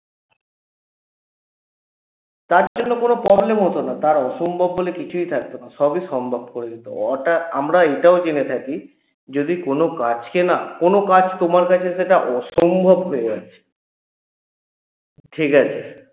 তার জন্য কোনো problem হত না তার অসম্ভব বলে কিছুই থাকত না সবই সম্ভব করে দিত ওটা আমরা এটাও জেনে থাকি যদি কোনো কাজকে না কোনো কাজ তোমার কাছে যেটা অসম্ভব হয়ে গেছে ঠিকাছে